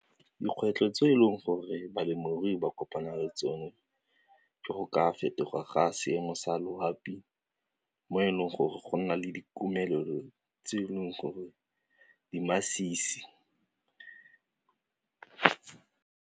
Dikgwetlho tse e leng gore balemirui ba kopana le tsone jo go ka fetoga ga seemo sa loapi mo e leng gore go nna le dikomelelo tse e leng gore di masisi.